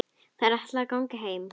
Þær ætla að ganga heim.